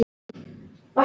Sáum hann út um glugga.